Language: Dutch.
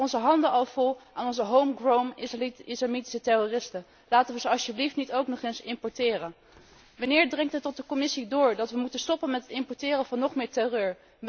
We hebben onze handen al vol aan onze home grown islamitische terroristen. Laten we ze alstublieft niet ook nog eens importeren. Wanneer dringt het tot de Commissie door dat we moeten stoppen met het importeren van nog meer terreur?